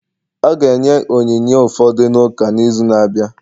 Ọ ga-enye onyinye ụfọdụ n'ụka n'izu na-abịa